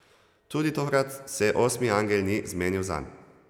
Tudi tokrat se osmi angel ni zmenil zanj.